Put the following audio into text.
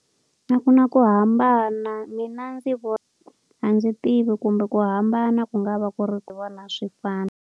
A ku na ku hambana mina ndzi a ndzi tivi kumbe ku hambana ku nga va ku ri vona a swi fana.